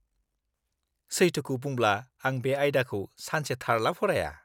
-सैथोखौ बुंब्ला आं बे आयदाखौ सानसेथारला फराया।